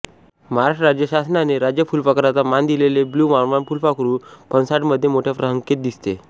महराष्ट्र राज्य शासनाने राज्य फुलपाखराचा मान दिलेले ब्लू मॉर्मॉन फुलपाखरू फणसाडमध्ये मोठ्या संखेत दिसते